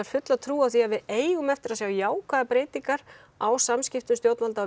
fulla trú á því að við eigum eftir að sjá jákvæðar breytingar á samspili stjórnvalda og